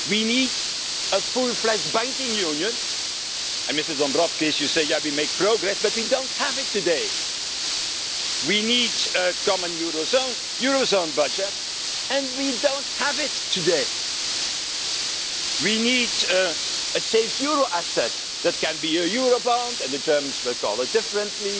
We need a fully fledged banking union, and, Mr Dombrovskis, although you say that we are making progress, we don't have it today. We need a common eurozone budget, which we don't have today. We need a safe euro asset, which could be a eurobond or something similar although the Germans will call it differently